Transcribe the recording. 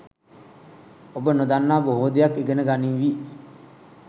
ඔබ නොදන්නා බොහෝ දෙයක් ඉගෙන ගනීවී